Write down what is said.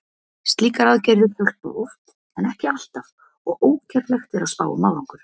Slíkar aðgerðir hjálpa oft en ekki alltaf og ógerlegt er að spá um árangur.